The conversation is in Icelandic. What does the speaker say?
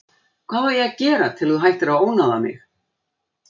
Hvað á ég að gera til að þú hættir að ónáða mig?